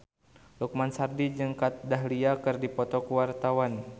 Lukman Sardi jeung Kat Dahlia keur dipoto ku wartawan